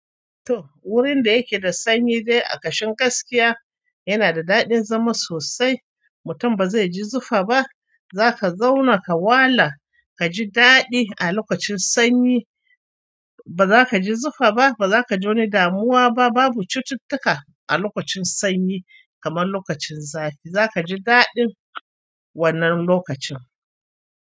To, wurin da yake da sanyi dai a kashin gaskiya yana da daɗin zama sosai. Mutum ba zai ji zufa ba, za ka zauna ka wala ka ji daɗi a lokacin sanyi. Ba za ka ji zufa ba, ba za kaji wani damuwa ba. Babu cututtuka a lokacin sanyi kamar lokacin zafi. Za ka ji daɗin wannan lokacin.